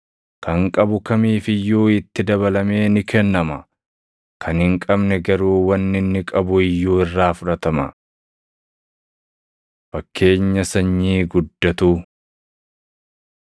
Kan qabu kamiif iyyuu itti dabalamee ni kennama; kan hin qabne garuu wanni inni qabu iyyuu irraa fudhatama.” Fakkeenya Sanyii Guddatuu